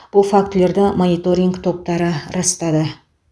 бұл фактілерді мониторинг топтары растады